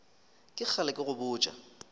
ke kgale ke go botša